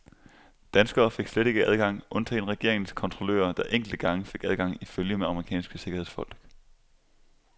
Danskere fik slet ikke adgang, undtagen regeringens kontrollører, der enkelte gange fik adgang i følge med amerikanske sikkerhedsfolk.